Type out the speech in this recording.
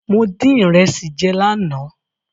Mo dín ìrẹsì jẹ lánàá.